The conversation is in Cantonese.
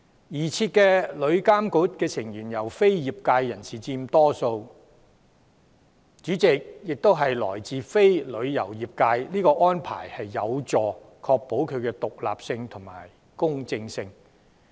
擬設的旅監局成員由非業界人士佔大多數，主席亦並非來自旅遊業界，這安排將有助確保旅監局的獨立性和公正性。